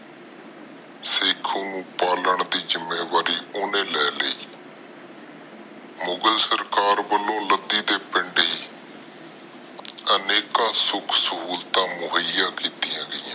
ਸ਼ੇਖੂ ਨੂੰ ਪਾਲਣ ਦੀ ਜਿੰਮੇਵਾਰੀ ਓਹਨੇ ਲੈ ਲਈ ਮੁਗ਼ਲ ਸਰਕਾਰ ਵਲੋਂ ਲਦੀ ਦੇ ਪਿੰਡੇ ਅਨੇਕਾਂ ਸੁਖ ਸਹੂਲਤਾਂ ਮੋਹਿਆ ਕੀਤੀਆਂ ਗਈਆਂ ਨੇ